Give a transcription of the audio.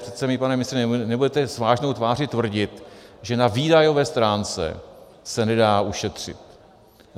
Přece mi, pane ministře, nebudete s vážnou tváří tvrdit, že na výdajové stránce se nedá ušetřit.